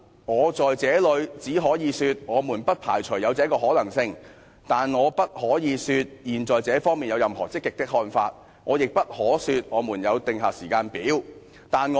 我只可以說，我們不排除有此可能性，但我不能說現在政府對於這方面有任何積極的看法，亦不能說政府為此訂出任何時間表。